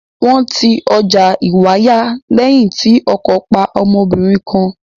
Wọ́n ti ọjà Ìwàyà lẹ́yìn tí ọkọ̀ pa ọmọbìnrin kan.